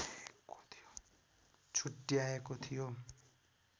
छुट्ट्याएको थियो